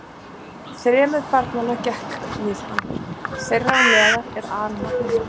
Þremur barnanna gekkst hann við, þeirra á meðal er alnafni hans.